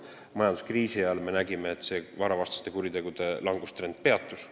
Majanduskriisi ajal me nägime, et varavastaste kuritegude langustrend peatus.